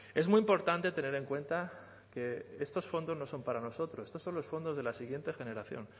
es muy importante tener en cuenta que estos fondos no son para nosotros estos son los fondos de la siguiente generación